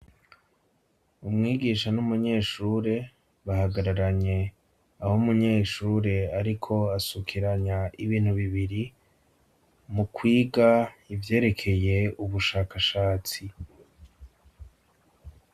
Umwigisha n'umunyeshure bahagararanye aho munyeshure ariko asukiranya ibintu bibiri mu kwiga ivyerekeye ubushakashatsi.